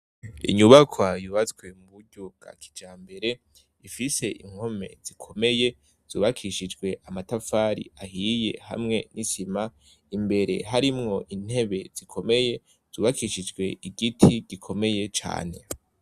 Inyubakwa yubatswe ku buryo bwa kijambere, ifise impome zikomeye, zubakishijwe amatafari ahiye hamwe n' isima, imbere harimwo intebe zikomeye, zubakishijwe igiti gikomeye cane.